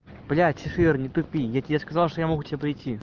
блять ира не тупи я тебе сказал что я могу к тебе придти